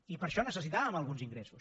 i per això necessitàvem alguns ingressos